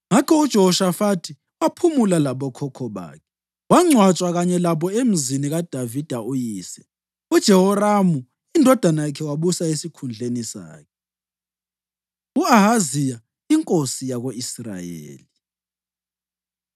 Ngakho uJehoshafathi waphumula labokhokho bakhe, wangcwatshwa kanye labo emzini kaDavida uyise. UJehoramu indodana yakhe wabusa esikhundleni sakhe. U-Ahaziya Inkosi Yako-Israyeli